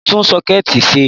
Mọ̀ ń tún Ṣọ́kẹ́ẹ̀tì ṣe